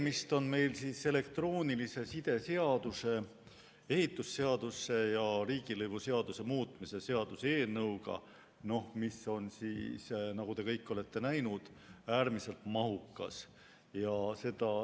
Meil on tegemist elektroonilise side seaduse, ehitusseaduse ja riigilõivuseaduse muutmise seaduse eelnõuga, mis on, nagu te kõik olete näinud, äärmiselt mahukas.